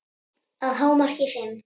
Að hámarki fimm.